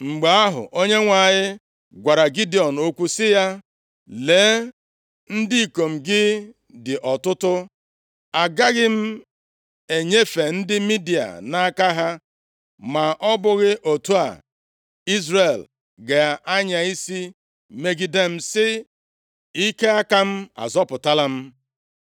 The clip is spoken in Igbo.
Mgbe ahụ, Onyenwe anyị gwara Gidiọn okwu sị ya, “Lee, ndị ikom gị dị ọtụtụ. Agaghị m enyefe ndị Midia nʼaka ha, ma ọ bụghị otu a, Izrel ga-anya isi megide m, sị, ‘Ike aka m azọpụtala m.’ + 7:2 Ịdị ọtụtụ nke ọnụọgụgụ ndị agha ha